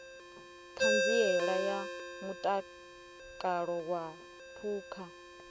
ṱhanziela ya mutakalo wa phukha